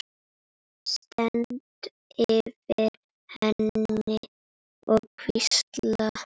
Stend yfir henni og hvísla.